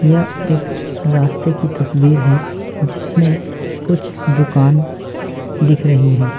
यह एक रास्ते की तस्वीर है जिसमें कुछ दुकान दिख रही हैं।